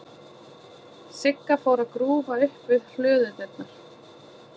Sigga fór að grúfa upp við hlöðudyrnar.